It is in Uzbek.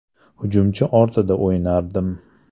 Hujumchi ortida o‘ynardim.